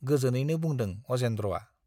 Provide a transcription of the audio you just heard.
गोजोनैनो बुंदों अजेन्द्रआ।